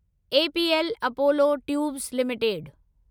APL Apollo tubes limited